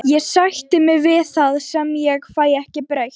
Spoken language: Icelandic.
Ég sætti mig við það sem ég fæ ekki breytt.